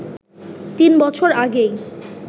৩ বছর আগেই